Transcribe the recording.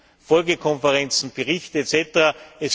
Es gibt Folgekonferenzen, Berichte usw.